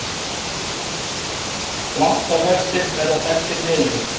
Dráttarvextir verði felldir niður